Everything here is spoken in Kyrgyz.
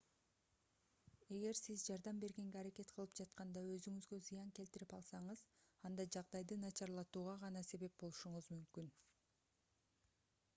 эгер сиз жардам бергенге аракет кылып жатканда өзүңузгө зыян келтирип алсаңыз анда жагдайды начарлатууга гана себеп болушуңуз мүмкүн